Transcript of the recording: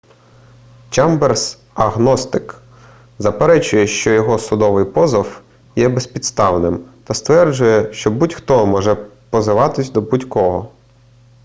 чемберс агностик заперечує що його судовий позов є безпідставним та стверджує що будь-хто може позиватись до будь-кого